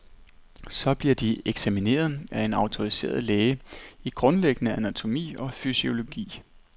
Så bliver de eksamineret af en autoriseret læge i grundlæggende anatomi og fysiologi.